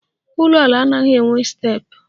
Ụlọala anaghị enwe steepụ